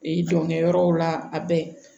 jɔnkɛ yɔrɔw la a bɛɛ